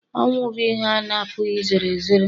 ọnwụ bụ ihe a na-apụghị izere ezere